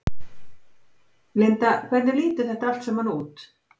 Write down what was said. Linda hvernig lítur þetta allt saman út?